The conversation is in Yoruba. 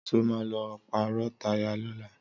Sọ ma lọ pàrọ̀ táyà lọ́la?